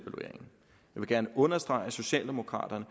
vil gerne understrege at socialdemokraterne